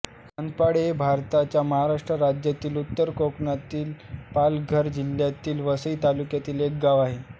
सत्पाळे हे भारताच्या महाराष्ट्र राज्यातील उत्तर कोकणातील पालघर जिल्ह्यातील वसई तालुक्यातील एक गाव आहे